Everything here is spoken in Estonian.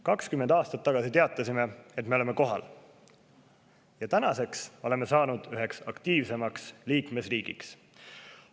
20 aastat tagasi teatasime, et me oleme kohal, ja tänaseks oleme saanud üheks aktiivseimaks liikmesriigiks.